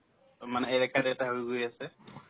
অ, মানে হৈ গৈ আছে